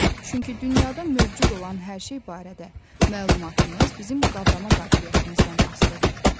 Çünki dünyada mövcud olan hər şey barədə məlumatımız bizim qavrama qabiliyyətimizdən asılıdır.